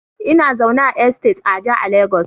Ina zaune a Estate Aja a lagos